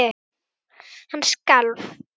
Hann skalf.